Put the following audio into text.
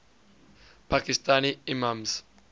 pakistani imams